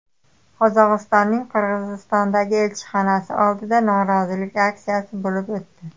Qozog‘istonning Qirg‘izistondagi elchixonasi oldida norozilik aksiyasi bo‘lib o‘tdi.